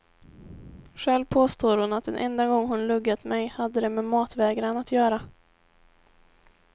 Själv påstår hon att den enda gång hon luggat mig hade det med matvägran att göra.